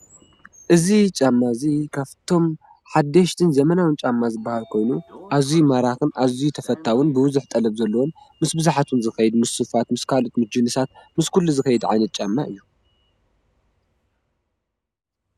እዚ ጫማ እዚ ካብቶም ሓደሽቲ ዘመናውን ጫማ ዝበሃሉ ዝኮኑ ኣዝዩ ማራክ ኣዝዩ ተፈታውን ብብዙሕ ጠለብ ዘለዎን ምስ ብዙሓት እውን ዝከይድ ምስ ስፋት ምስ ጁኑሳት ምስ ካልኦት ምስ ኩሉ ዝከይድ ዓይነት ጫማ እዩ።